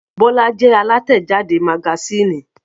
Bọ́lá jẹ́ alátẹ̀jáde magasínì.